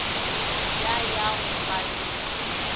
ya ya go ba le